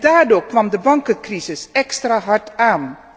Daardoor kwam de bankencrisis extra hard aan.